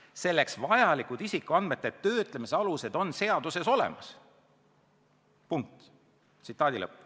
Selleks vajalikud isikuandmete töötlemise alused on seadustes olemas.